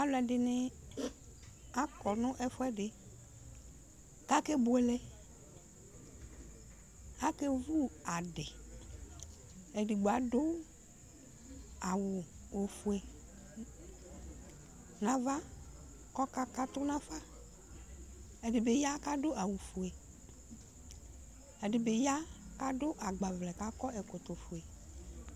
Alʋɛdɩnɩ akɔ nʋ ɛfʋɛdɩ k'akebuele , k'akevu adɩ , edigbo adʋ awʋ ofue n'ava kɔka katʋ nafa, ɛdɩ bɩ ya k'adu awʋ fue, ɛdɩ bɩ ya k'adʋ agbavlɛ k'akɔ ɛkɔtɔ fue